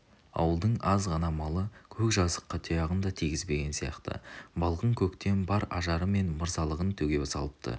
ауылдың аз ғана малы көк жазыққа тұяғын да тигізбеген сияқты балғын көктем бар ажары мен мырзалығын төге салыпты